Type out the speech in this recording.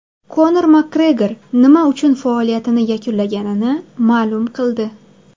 Konor Makgregor nima uchun faoliyatini yakunlaganini ma’lum qildi.